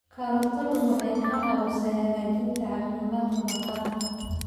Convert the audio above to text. Karootadu waxay ka caawisaa hagaajinta caafimaadka maqaarka.